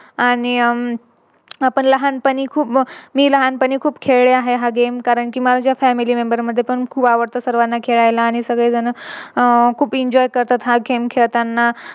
आणि हम्म मी लहानपणी खूप खेळला आहे हा Game कारण कि माझ्या Family member मध्ये पण खूप आवडते सर्वांना खेळायला आणि सगळे जण अह खूप Enjoy करतात हा Game खेळताना